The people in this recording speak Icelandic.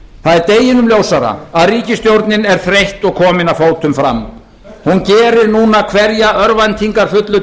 það er deginum ljósara að ríkisstjórnin er þreytt og komin að fótum fram hún gerir núna hverja örvæntingarfullu